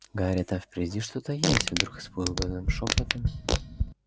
гарри там впереди что-то есть вдруг испуганным шёпотом